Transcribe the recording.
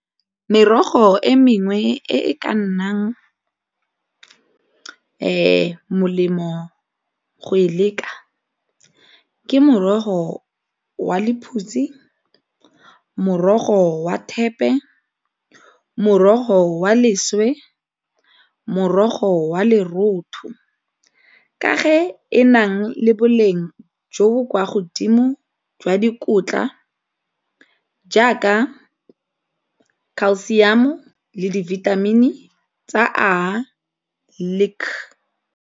Merogo e mengwe e e ka nnang molemo go e leka ke morogo wa lephutsi, morogo wa thepe, morogo wa leswe, morogo wa lorotho, ka ga e nang le boleng jo bo kwa godimo jwa dikotla jaaka calcium-o le dibithamini tsa a .